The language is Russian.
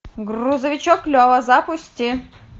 грузовичок лева запусти